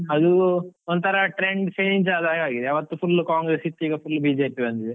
ಅದು ಒಂತರ trend change ಆದ ಹಾಗೆ ಆಗಿದೆ, ಆವತ್ತು full ಕಾಂಗ್ರೆಸ್ ಇತ್ತು. ಈಗ full BJP ಬಂದಿದೆ.